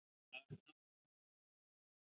Hvernig liði henni frænku hans, blessaðri?